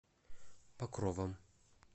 покровом